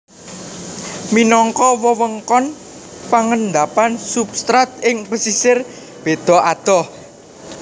Minangka wewengkon pangendapan substrat ing pesisir beda adoh